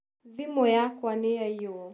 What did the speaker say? thimu yakwa nĩyaĩywo.